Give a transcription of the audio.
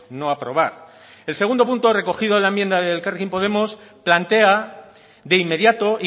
no aprobar el segundo punto recogido en la enmienda de elkarrekin podemos plantea de inmediato